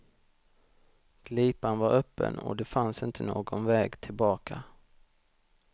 Glipan var öppen och det fanns inte någon väg tillbaka.